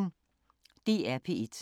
DR P1